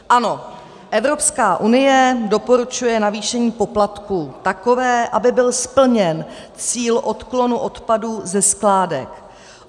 Ano, Evropská unie doporučuje navýšení poplatků takové, aby byl splněn cíl odklonu odpadů ze skládek.